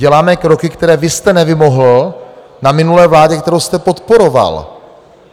Děláme kroky, které vy jste nevymohl na minulé vládě, kterou jste podporoval.